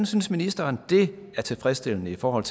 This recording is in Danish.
synes ministeren det er tilfredsstillende i forhold